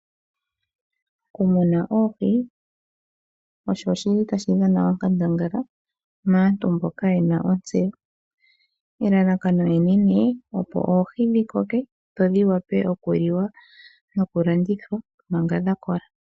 Okumuna oohi osho shili tashi dhana okandangala maantu mboka ye na otseyo, elalakano enene opo oohi dhi koke dho dhi wape oku li wa noku landithwa manga dha kola.